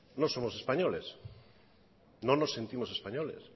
no somos españoles no nos sentimos españoles